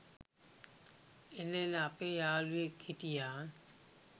එල එල! අපේ යාළුවෙක් හිටියා